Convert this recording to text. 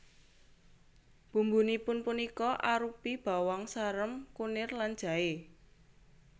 Bumbunipun punika arupi bawang sarem kunir lan jaé